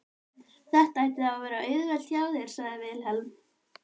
Þetta ætti þá að vera auðvelt hjá þér, sagði Vilhelm.